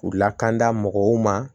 U lakanda mɔgɔw ma